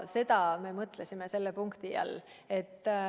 Seda me mõtlesime selle punkti all.